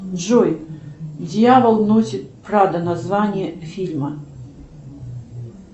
джой дьявол носит прада название фильма